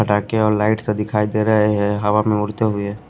पटाखे और लाइट सा दिखाई दे रहे हैं हवा में उड़ते हुए--